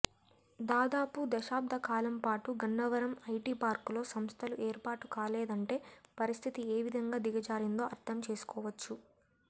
దాదాపు దశాబ్దకాలంపాటు గన్నవరం ఐటిపార్కులో సంస్థలు ఏర్పాటుకాలేదంటే పరిస్థితి ఏవిధంగా దిగజారిందో అర్దం చేసుకోవచ్చు